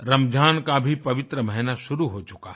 रमज़ान का भी पवित्र महीना शुरू हो चुका है